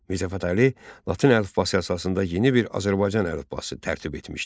Mirzə Fətəli Latın əlifbası əsasında yeni bir Azərbaycan əlifbası tərtib etmişdi.